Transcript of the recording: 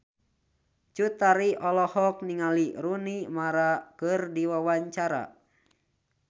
Cut Tari olohok ningali Rooney Mara keur diwawancara